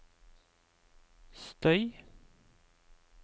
støy